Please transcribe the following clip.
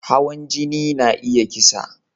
Hawan jini na iya kisa